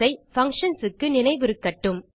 functions க்கு நினைவிருக்கட்டும்